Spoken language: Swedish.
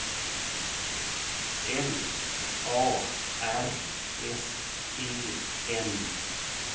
L A R S E N